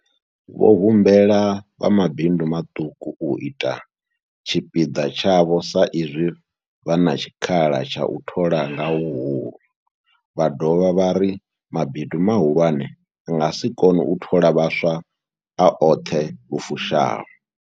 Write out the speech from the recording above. Vho humbela vha mabindu maṱuku u ita tshipiḓa tshavho sa izwi vha na tshikhala tsha u thola nga huhulu, vha dovha vha ri mabindu mahulwane a nga si kone u thola vhaswa a oṱhe lu fushaho.